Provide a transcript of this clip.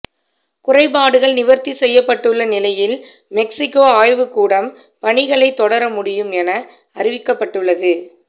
குறைபாடுகள் நிவர்த்தி செய்யப்பட்டுள்ள நிலையில் மெக்ஸிக்கோ ஆய்வு கூடம் பணிகளை தொடர முடியும் என அறிவிக்கப்பட்டுள்ளது